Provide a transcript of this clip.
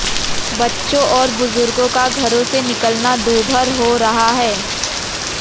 बच्चों और बुजुर्गों का घरों से निकलना दूभर हो रहा है